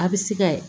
A bɛ se ka